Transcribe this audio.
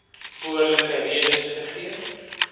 behoorlike redes gegee